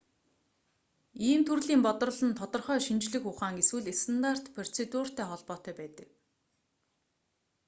ийм төрлийн бодрол нь тодорхой шинжлэх ухаан эсвэл стандарт процедуртай холбоотой байдаг